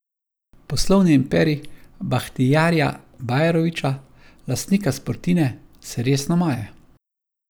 Poslovni imperij Bahtijarja Bajrovića, lastnika Sportine, se resno maje.